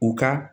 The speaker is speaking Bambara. U ka